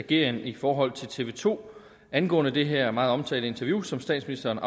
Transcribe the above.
ageren i forhold til tv to angående det her meget omtalte interview som statsministeren